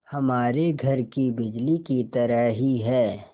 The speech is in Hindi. हमारे घर की बिजली की तरह ही है